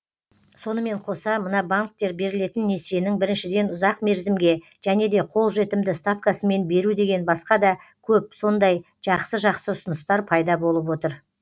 сонымен қоса мына банктер берілетін несиенің біріншіден ұзақ мерзімге және де қолжетімді ставкасымен беру деген басқа да көп сондай жақсы жақсы ұсыныстар пайда болып отыр